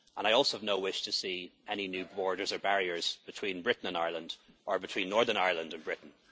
Ireland. I also have no wish to see any new borders or barriers between Britain and Ireland, or between Northern Ireland and